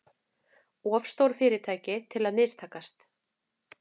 Of stór fyrirtæki til að mistakast